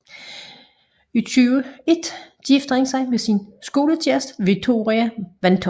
Oktober 2001 giftede han sig med sin skole kæreste Victoria Vantoch